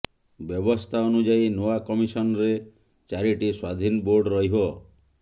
ବ୍ୟବସ୍ଥା ଅନୁଯାୟୀ ନୂଆ କମିଶନରେ ଚାରିଟି ସ୍ୱାଧୀନ ବୋର୍ଡ ରହିବ